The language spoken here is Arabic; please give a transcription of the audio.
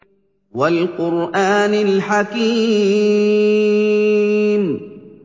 وَالْقُرْآنِ الْحَكِيمِ